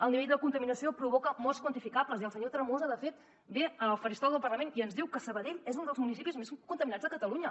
el nivell de contaminació provoca morts quantificables i el senyor tremosa de fet ve al faristol del parlament i ens diu que sabadell és un dels municipis més contaminats de catalunya